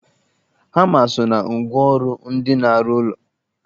Hama so na ngwa ọrụ ndị na-arụ ụlọ